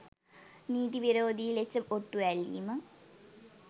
නීති විරෝධී ලෙස ඔට්ටු ඇල්ලීම